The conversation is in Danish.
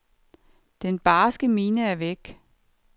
Den barske mine er væk.